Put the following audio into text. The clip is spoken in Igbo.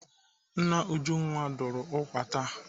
Nna Ujunwa dụrụ ụkwa taa.